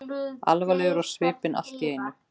Alvarleg á svipinn allt í einu.